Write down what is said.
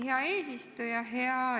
Hea eesistuja!